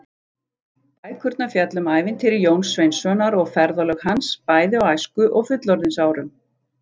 Bækurnar fjalla um ævintýri Jóns Sveinssonar og ferðalög hans, bæði á æsku- og fullorðinsárum.